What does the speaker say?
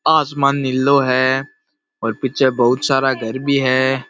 आसमान निलो है और पीछे बहुत सारा घर भी है।